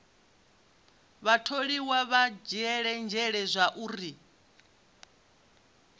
vhatholiwa vha dzhiele nzhele zwauri